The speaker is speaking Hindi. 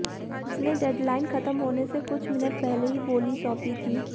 उसने डेडलाइन खत्म होने से कुछ मिनट पहले ही बोली सौंपी थी